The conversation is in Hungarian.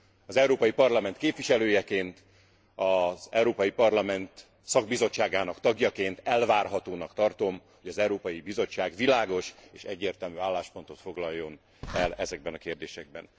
Az Európai Parlament képviselőjeként az Európai Parlament szakbizottságának tagjaként elvárhatónak tartom, hogy az Európai Bizottság világos és egyértelmű álláspontot foglaljon el ezekben a kérdésekben.